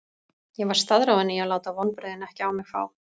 Ég var staðráðinn í að láta vonbrigðin ekki á mig fá.